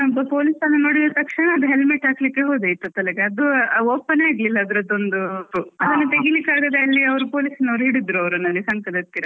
police ಅವ್ರನ್ನು ನೋಡಿದ ತಕ್ಷಣಾ ಅದು helmet ಹಾಕ್ಲಿಕ್ಕೆ ಹೋದೆ ಆಯ್ತಾ ತಲೆಗೆ, ಅದು open ಆಗ್ಲಿಲ್ಲ ಅದ್ರದೊಂದು ಅದನ್ನು ತೆಗೀಲಿಕ್ಕೆ ಆಗದೆ police ಅವ್ರು ಹಿಡಿದ್ರು ಅವರನ್ನು ಅಲ್ಲಿ, ಸಂಕದತ್ತಿರ.